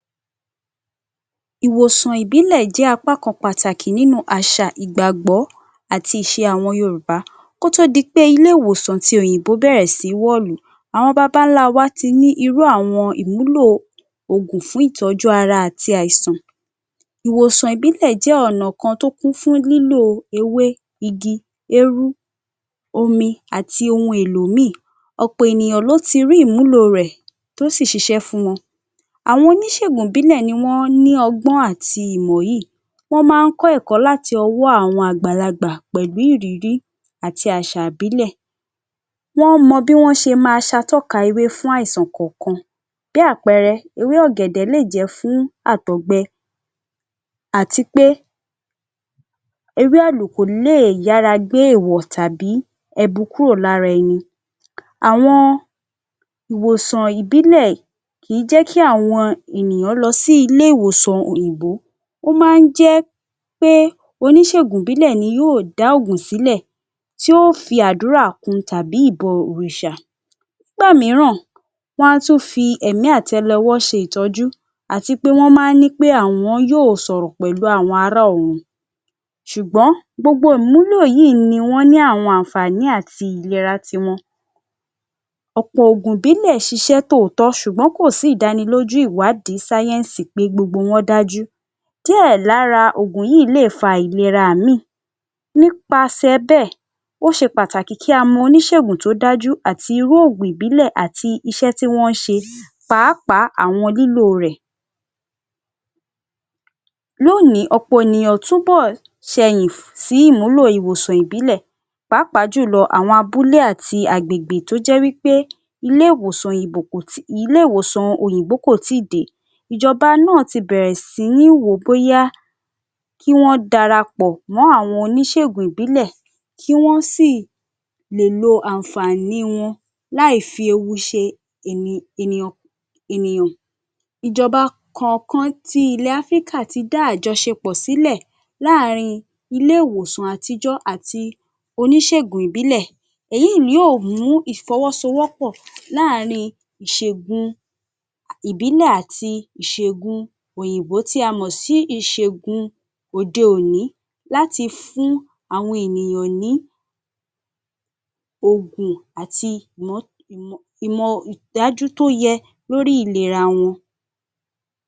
Ìwòsàn ìbílẹ̀ jẹ́ apá kan pàtàkì nínú àṣà, ìgbàgbọ́ àti ìṣe àwọn Yorùbá kó tó di pé ilé-ìwòsan ti òyìnbó bẹ̀rẹ̀ sí ní wọ̀lú. Àwọn babá ńlá wa ti ní irú àwọn ìmúlò oògùn fún ìtọ́jú ara ati àìsàn. Ìwòsàn ìbílẹ̀ jẹ́ ọ̀nà kan tó kún fún lólò ewé, igi, érú, omi àti ohun èlò míì. Ọ̀pọ̀ ènìyàn ló ti rí ìmúlò rẹ̀, tó sì ṣiṣẹ́ fún wọn. Àwọn oníṣègùn ìbílẹ̀ ni wọ́n ní ọgbọ́n àti Ìmọ̀ yìí. Wọ́n máa ń kọ́ ẹ̀kọ́ láti owó awon àgbàlagbà pẹ̀lú ìrírí àti àṣà ìbílẹ̀. Wọ́n mọ bí wọ́n ṣe ma ṣatọ́ka ewé fún àìsàn kọ̀ọ̀kan. Bí àpẹẹrẹ, ewé ọ̀gẹ̀dẹ̀ le jẹ́ fún àtọ̀gbẹ àti pé ewé àlùkò lè yára gbé èwọ̀ tàbí ẹbu korò lára ẹni. Àwọn ìwòsàn ìbílẹ̀ kìí jẹ́ kí àwọn ènìyàn lọ sí ilé-ìwòsan òyìnbó. Ó máa ń jẹ́ pé oníṣègùn ìbílẹ̀ ni yóò dá ògùn sí lẹ̀, tí yóò fi àdúrà kun tàbí ìbọ̀-òrìṣà. Nígbà míràn, wọn á tún fi ẹ̀mí àtẹlẹwọ́ ṣe ìtọ́jú àti pé wọn máa ní pé àwọn yóò sọ̀rọ̀ pẹ̀lú àwọn ará ọ̀run. Ṣùgbọ́n gbogbo ìmúlò yìí ni wọ́n ní àwọn àǹfààní àti ìlera ti wọn. Ọ̀pọ̀ ògùn ìbílẹ̀ ṣiṣẹ́ tóòtọ́ ṣùgbọ́n kò sí ìdánilójú ìwádìí Sáyẹ́ǹsì pé gbogbo wọn dájú. Díẹ̀ lára ògùn yìí lè fa àìlera míì nípasẹ̀ bẹ́ẹ̀, ó ṣe pàtàkì kí a mọ oníṣègùn tó dájú àti irú oògùn ìbílẹ̀ àti iṣẹ́ tí wọ́n ń ṣe pàápàá àwọn lílò rẹ̀. Lónìí ọ̀pọ̀ ènìyàn túbọ̀ ṣẹyìn sí ìmúlò ìwòsàn ìbílẹ̀ pàápàá jù lọ àwọn abúlé àti agbègbè tó jẹ́ wí pé Ilé-ìwòsan Ilé-ìwòsan òyìnbó kò tíì dé. Ìjọba náà ti bẹ̀rẹ̀ sí ní wò ó bóyá kí wọ́n darapọ̀ mọ́ àwọn oníṣègùn ìbílẹ̀, kí wọ́n sì lè lo àǹfààní wọn láì fi ewu ṣe ènìyàn. Ìjọba kọ̀ọ̀kan ti ilẹ̀ Áfríkà ti dá àjọṣepọ̀ sílẹ̀ láàárín ilé-ìwòsan àtijọ́ àti oníṣègùn ìbílẹ̀. Èyí ni yóò mú ìfọwọ́sowọ́pọ̀ láàárín ìṣegun ìbílẹ̀ àti ìṣegun òyìnbó tí a mọ̀ sí ìṣegun òde-òní láti fún àwọn ènìyàn ní ògùn àti ìmọ̀ dájú tó yẹ lórí ìlera wọn.